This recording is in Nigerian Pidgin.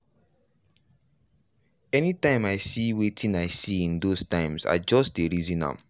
anytime i see wetin i see in those times i just dey reason am.